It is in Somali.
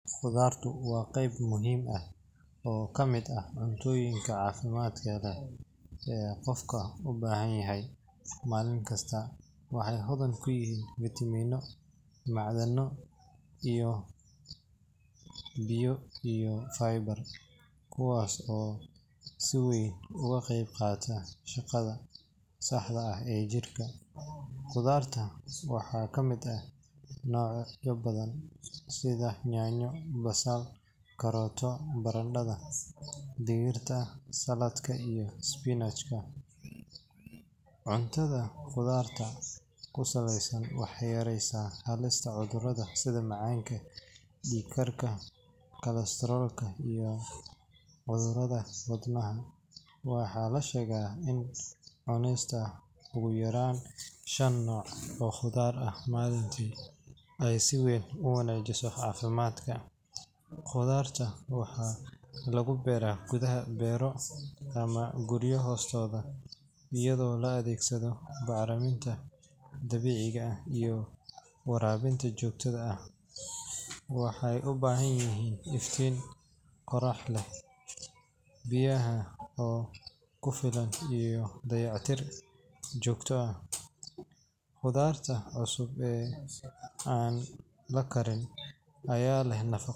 Qudarta waa qeyb muhiim ah, malinkasta loo bahan yahay, waxey leeyihiin vitamina, kuwas oo si weyn uga qeyb qaata shaqada jirka, waxaa kamid ah barada, cuntada qudaarta waxeey yareysa cudurada, waxaa lasheega in cunista qudarta aay wanajiso cafimaadka, ayado la adeegsado bacraminta, waxeey ubahan yihin aifyiin, iyo dayac tir joogta ah.